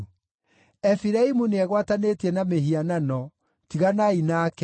Efiraimu nĩegwatanĩtie na mĩhianano; tiganai nake!